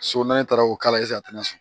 So n'a taara o k'a a tɛna sɔn